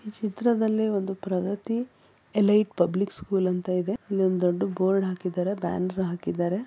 ಈ ಚಿತ್ರದಲ್ಲಿ ಒಂದು ಪ್ರಗತ್ತಿ ಎಲೈಟ್ ಪಬ್ಲಿಕ್ ಸ್ಕೂಲ್ ಅಂತ ಇದೆ ಇಲ್ಲಿ ಒಂದು ದೊಡ್ದು ಬೋರ್ಡ್ ಹಾಕಿದ್ದಾರೆ ಬ್ಯಾನರ್ ಹಾಕಿದ್ದಾರೆ.